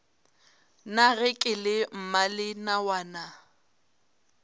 na ge ke le mmalenawana